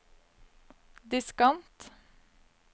diskant